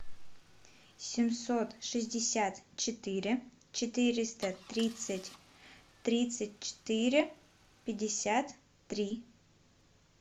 семьсот шестьдесят четыре четыреста тридцать тридцать четыре пятьдесят три